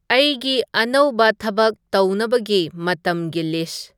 ꯑꯩꯒꯤ ꯑꯅꯧꯕ ꯊꯕꯛ ꯇꯧꯅꯕꯒꯤ ꯃꯇꯝꯒꯤ ꯂꯤꯁ